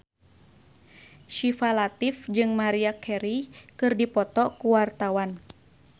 Syifa Latief jeung Maria Carey keur dipoto ku wartawan